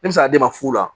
Ne bɛ se ka d'e ma fu la